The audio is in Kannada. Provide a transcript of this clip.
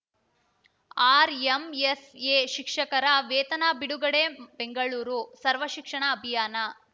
ಆರ್‌ಎಂಎಸ್‌ಎ ಶಿಕ್ಷಕರ ವೇತನ ಬಿಡುಗಡೆ ಬೆಂಗಳೂರುಸರ್ವಶಿಕ್ಷಣ ಅಭಿಯಾನ